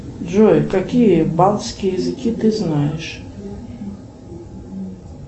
джой какие языки ты знаешь